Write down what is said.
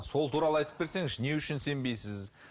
сол туралы айтып берсеңізші не үшін сенбейсіз